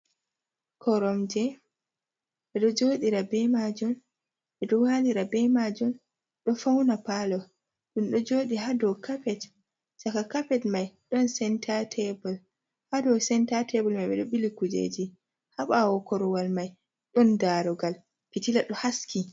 Koromje ɓeɗo joɗi ra bei majun ɓe ɗo walira bei majun ɗo fauna palo, ɗum do joɗi ha dou kapet shaka kapet mai ɗon senta tebul, ha dou senta tabul mai ɓeɗo ɓili kujeji ha ɓawo korwal mai ɗon darogal pitila ɗo haski.